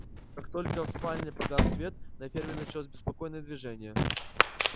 как только в спальне погас свет на ферме началось беспокойное движение